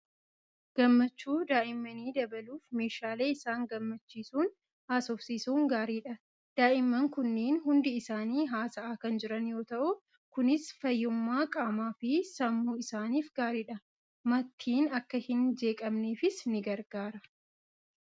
Gammachuu daa'immanii dabaluuf meeshaalee isaan gammachiisuun haasofsiisun gaariidhaa. Daa'imman kunneen hundi isaanii haasa'aa kan jiran yoo ta'u, kunis fayyummaa qaamaa fi sammuu isaaniif gaariidha. Mattiin akka hin jeeqamneefis ni gargaara.